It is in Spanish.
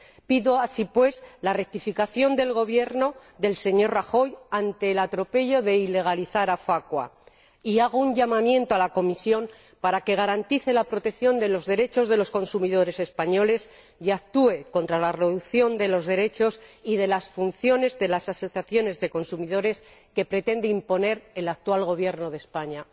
Pido, así pues, la rectificación del Gobierno del señor Rajoy ante el atropello de ilegalizar a FACUA, y hago un llamamiento a la Comisión para que garantice la protección de los derechos de los consumidores españoles y actúe contra la reducción de los derechos y de las funciones de las asociaciones de consumidores que pretende imponer el actual Gobierno de España.